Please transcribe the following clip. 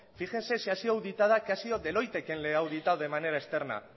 fíjense si ha sido auditada que ha sido deloitte que le ha auditado de manera externa